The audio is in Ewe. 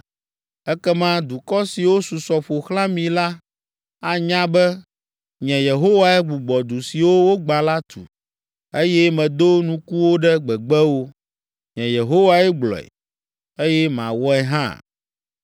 Ekema dukɔ siwo susɔ ƒo xlã mi la anya be, nye Yehowae gbugbɔ du siwo wogbã la tu, eye medo nukuwo ɖe gbegbewo. Nye Yehowae gblɔe, eye mawɔe hã.”